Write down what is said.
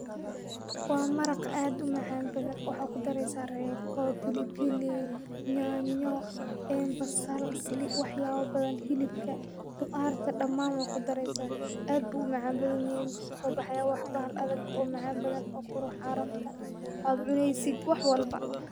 Waa maraq aad umacaan badan waxa kudareysa reeko, bilibili, nyanyo, basal wax yaabo badan, hilibka, qudaarta damaan waad kudareysa, aad buu umacaan badan yahay muxuu kusoo baxaaya bahal adag oo macan badan oo carfaaya aad cuneysid wax walba.